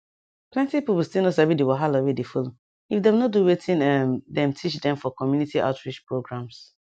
plenty people still no sabi the wahala wey dey follow if dem no do wetin um dem teach dem for community outreach programs